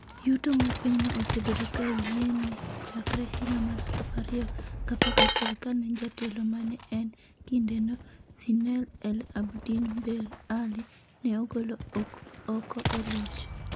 Yuto mar pinyno osebedo ka yienni chakre higa mar 2011 kane jatelo mane en kinde no, Zine El Abdine Ben Ali, ne ogolo oko e loch.